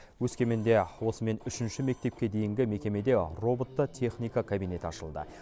өскеменде осымен үшінші мектепке дейінгі мекемеде роботты техника кабинеті ашылды